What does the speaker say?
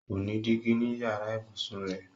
Kò ní dígí ní yàrá ìbùsùn rẹrẹ.